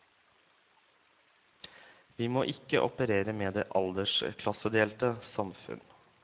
Vi må ikke operere med det aldersklassedelte samfunn.